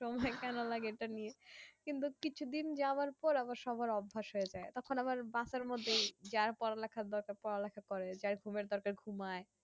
সময় কেন লাগে এইটা নিয়ে কিন্তু কিছু দিন যাওয়ার পর আবার সবার অভ্যাস হয়ে যাই তখন আবার বাসার মধ্যেই যা পড়ালেখার ব্যাপারটা যার ঘুমের দরকার ঘুমাই